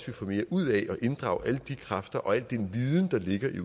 vi får mere ud af at inddrage alle de kræfter og al den viden der ligger